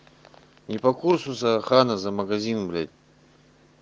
не по курсу за ханзо магазин блять